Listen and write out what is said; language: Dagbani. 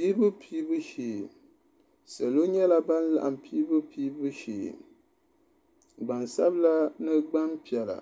Piibu piibu shee salo nyɛla ban laɣim piibu piibu shee gbansabila ni gbanpiɛla